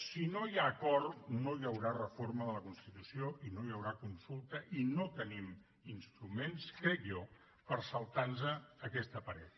si no hi ha acord no hi haurà reforma de la constitució i no hi haurà consulta i no tenim instruments crec jo per saltar aquesta paret